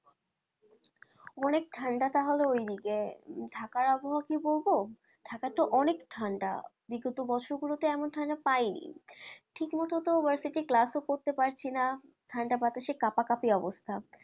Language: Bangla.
অনেক ঠান্ডা তাহলে ওই দিকে ঢাকার আবহাওয়া কি বলবো? ঢাকাতে অনেক ঠান্ডা বিগত বছর গুলোতে এমন ঠান্ডা পাইনি ঠিক মতো তো class ও করতে পারছি না ঠান্ডা বাতাসে কাঁপাকাঁপি অবস্থা।